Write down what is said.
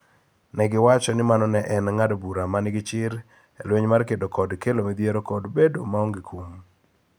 Ne giwacho ni mano ne en ng�ado bura ma nigi chir e lweny mar kedo kod kelo midhiero kod bedo maonge kum.